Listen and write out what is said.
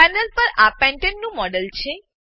panel પર આ પેન્ટને પેન્ટેન નું મોડેલ છે